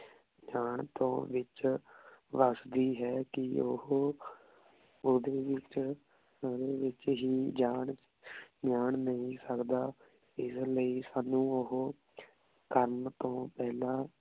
ਜਾਂ ਤੋਂ ਵਿਚ ਵਸਦੀ ਹੈ ਕੀ ਓਹੋ ਓਡੀ ਵਿਚ ਓਡੀ ਵਿਚ ਹੀ ਜਾਂ ਨਾਈ ਸਕਦਾ ਇਸ ਲੈ ਸਾਨੂ ਓਹੋ ਕਰਨ ਤੋਂ ਪੇਹ੍ਲਾਂ